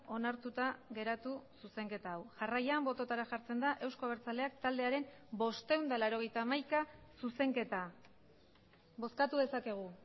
onartuta geratu zuzenketa hau jarraian bototara jartzen da euzko abertzaleak taldearen bostehun eta laurogeita hamaika zuzenketa bozkatu dezakegu